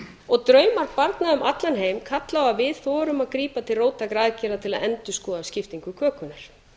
og draumar barna um allan heim kalla á að við þorum að grípa til róttækra aðgerða til að endurskoða skiptingu kökunnar